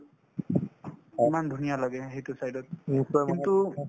ইমান ধুনীয়া লাগে সেইটো side ত কিন্তু